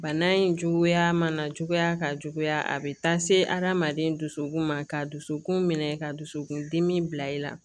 Bana in cogoya mana cogoya ka juguya a bɛ taa se hadamaden dusukun ma ka dusukun minɛ ka dusukun dimi bila i la